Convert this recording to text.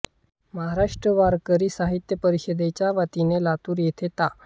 महाराष्ट्र वारकरी साहित्य परिषदेच्या वतीने लातूर येथे ता